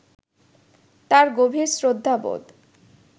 তাঁর গভীর শ্রদ্ধাবোধ